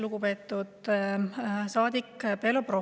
Lugupeetud saadik Belobrovtsev!